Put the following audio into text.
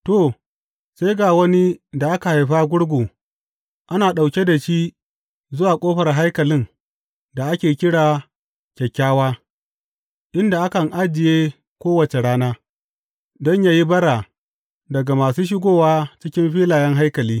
To, sai ga wani da aka haifa gurgu ana ɗauke da shi zuwa ƙofar haikalin da ake kira Kyakkyawa, inda akan ajiye kowace rana, don yă yi bara daga masu shigowa cikin filayen haikali.